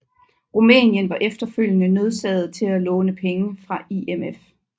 Rumænien var efterfølgende nødsaget til at låne penge fra IMF